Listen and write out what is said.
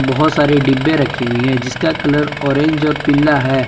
बहुत सारे डिब्बे रखी हुई हैं जिसका कलर ऑरेंज और पीला है।